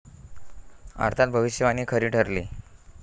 अर्थात भविष्यवाणी खरी ठरली.